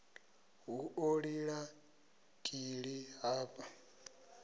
hu ḓo lila kili hafha